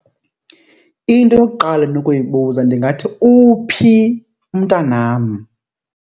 Into yokuqala endinokuyibuza ndingathi, uphi umntanam?